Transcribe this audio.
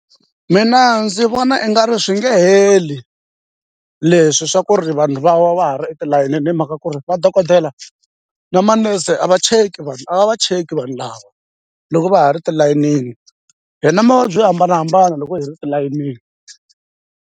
Mina ndzi vona i nga ri swi nge heli leswi swa ku ri vanhu va wa va ha ri etilayenini ni hi mhaka ku ri vadokodela na manese a va cheki vanhu a va va cheki vanhu lava loko va ha ri tilayinini hi na mavabyi yo hambanahambana loko hi ri tilayinini.